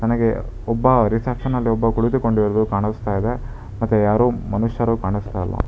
ನನಗೆ ಒಬ್ಬ ರಿಸೆಪ್ಶನ್ ಅಲ್ಲಿ ಒಬ್ಬ ಕುಳಿತುಕೊಂಡಿರುವುದು ಕಾಣಿಸ್ತಾ ಇದೆ ಯಾರೋ ಮನುಷ್ಯರು ಕಾಣಿಸ್ತಾ ಇಲ್ಲ.